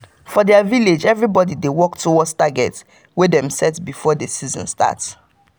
for their village everybody dey work towards target wey dem set before the season start.